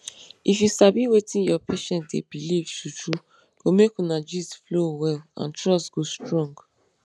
if you sabi wetin your patient dey believe true true go make una gist flow well and trust go strong.